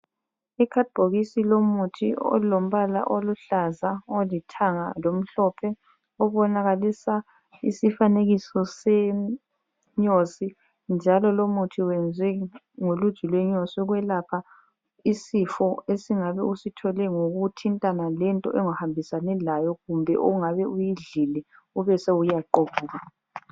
Ikhadibhokisi lomuthi olombala oluhlaza, olithanga lomhlophe obonakalisa isifanekiso senyosi njalo lomuthi wenzwe ngoluju lwenyosi ukwelapha isifo esingabe usithole ngokuthintana lento ongahambisani layo kumbe ongabe uyidlile ubese uyaqubuka.